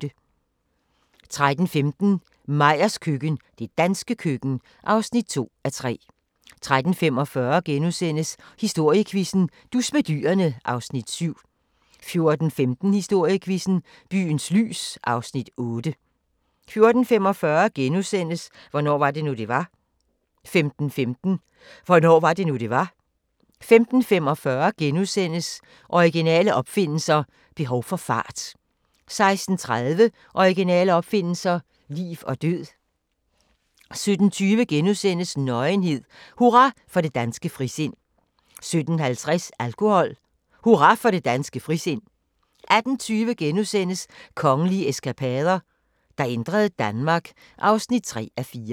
13:15: Meyers køkken – det danske køkken (2:3) 13:45: Historiequizzen: Dus med dyrene (Afs. 7)* 14:15: Historiequizzen: Byens lys (Afs. 8) 14:45: Hvornår var det nu, det var? * 15:15: Hvornår var det nu, det var? 15:45: Originale opfindelser – behov for fart * 16:30: Originale opfindelser – liv og død 17:20: Nøgenhed: Hurra for det danske frisind * 17:50: Alkohol: Hurra for det danske frisind 18:20: Kongelige eskapader – der ændrede Danmark (3:4)*